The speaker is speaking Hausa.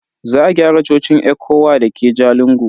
Za a gyara cocin ECWA dake Jalingo.